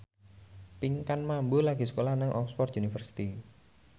Pinkan Mambo lagi sekolah nang Oxford university